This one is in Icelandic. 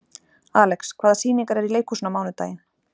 Alex, hvaða sýningar eru í leikhúsinu á mánudaginn?